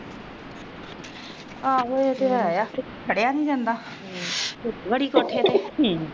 ਆਹੋ ਇਹ ਤੇ ਹੈ ਹੀ ਹੈ